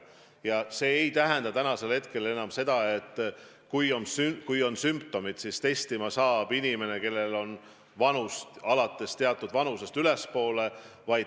Ja see ei tähenda enam seda, et kui on sümptomid, siis testima saab inimene, kellel on vanust alates teatud vanusest ülespoole.